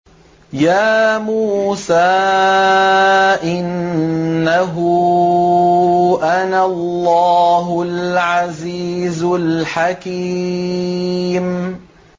يَا مُوسَىٰ إِنَّهُ أَنَا اللَّهُ الْعَزِيزُ الْحَكِيمُ